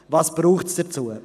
Was braucht es dazu?